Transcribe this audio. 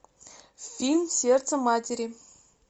фильм сердце матери